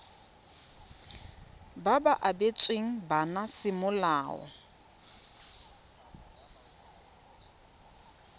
ba ba abetsweng bana semolao